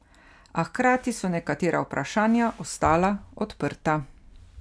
A hkrati so nekatera vprašanja ostala odprta.